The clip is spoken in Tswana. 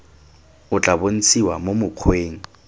o tla bontshiwa mo mokgweng